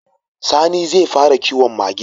Sani zai fara kiwon Mage